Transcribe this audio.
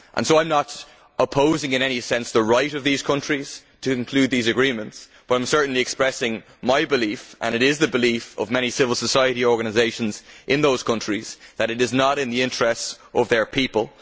I am not opposing in any sense the right of these countries to include these agreements, but I am certainly expressing my belief and it is the belief of many civil society organisations in those countries that it is not in the interests of their people.